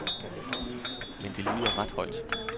Men det lyder ret højt.